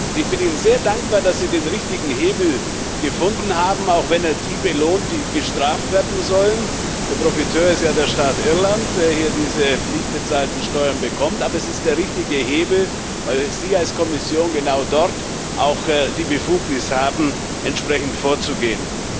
Und ich bin Ihnen sehr dankbar, dass Sie den richtigen Hebel gefunden haben, auch wenn er die belohnt, die gestraft werden sollen der Profiteur ist ja der Staat Irland, der hier diese nicht bezahlten Steuern bekommt aber es ist der richtige Hebel, weil Sie als Kommission genau dort auch die Befugnis haben, entsprechend vorzugehen.